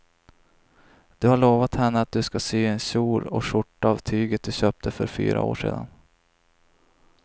Du har lovat henne att du ska sy en kjol och skjorta av tyget du köpte för fyra år sedan.